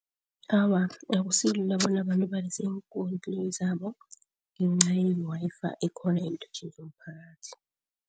Awa, akusilula bona abantu balise iinkoloyi zabo ngenca ye-Wi-Fi ekhona iinthuthi zomphakathi.